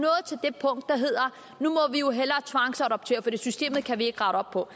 må hellere tvangsadoptere for systemet kan vi ikke rette op på